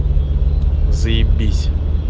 заебись